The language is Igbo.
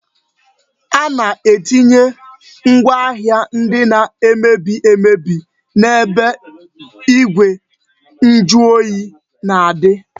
A na-etinye ngwaahịa ndị na-emebi emebi n-ebe igwe njuoyi na-adị